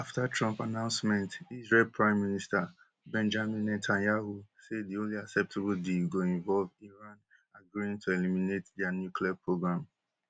afta trump announcement israel prime minister benjamin netanyahu say di only acceptable deal go involve iran agreeing to eliminate dia nuclear programme